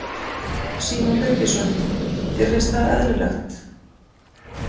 Símon Birgisson: Þér finnst það eðlilegt?